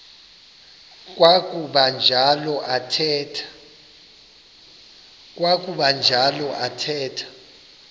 kwakuba njalo athetha